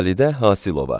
Xalidə Hasiova.